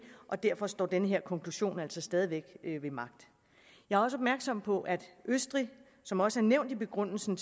og derfor står den her konklusion altså stadig væk ved magt jeg er også opmærksom på at østrig som også er nævnt i begrundelsen